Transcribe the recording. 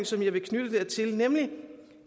som jeg vil knytte dertil nemlig